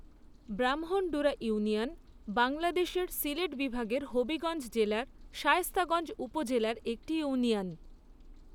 Brahmandura union বাংলাদেশের সিলেট বিভাগের হবিগঞ্জ জেলার শায়েস্তাগঞ্জ উপজেলার একটি ইউনিয়ন।